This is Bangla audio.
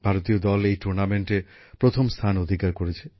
ভারতীয় দল এই টুর্নামেন্টে প্রথম স্থান অধিকার করেছে